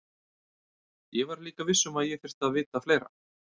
Ég var líka viss um að ég þyrfti að vita fleira.